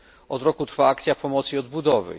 Od roku trwa akcja pomocy i odbudowy.